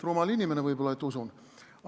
Rumal inimene võib-olla, et usun.